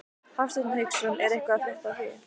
Hafsteinn Hauksson: Er eitthvað að frétta af því?